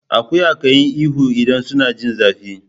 Akuya kan yi ihu idan suna jin zafi.